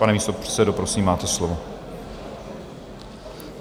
Pane místopředsedo, prosím, máte slovo.